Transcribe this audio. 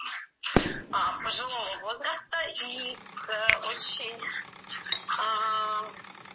а пожилого возраста и с очень а